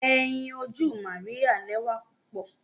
Ẹyin oju Maria lẹwa pupọ.